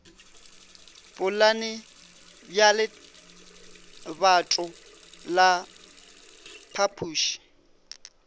polane ya lebato la phapuši